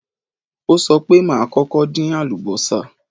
Ó sọ pé, màá kọ́kọ́ dín àlùbọ́sà